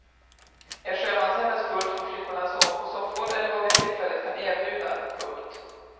Är sjömanshemmet fullt får flickorna sova på soffor eller vad vi tillfälligt kan erbjuda. punkt